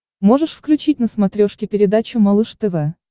можешь включить на смотрешке передачу малыш тв